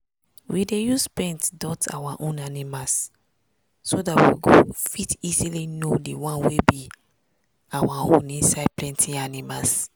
we dey use paint dot our own animals so we go fit easily know di one wey be our own inside plenty animals.